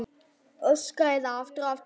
Öskraði það aftur og aftur.